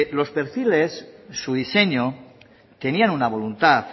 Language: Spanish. los perfiles su diseño tenían una voluntad